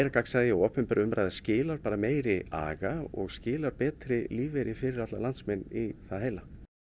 gagnsæi og opinber umræða skilar meiri aga og skilar betri lífeyri fyrir landsmenn í það heila